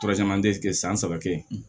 san saba kɛ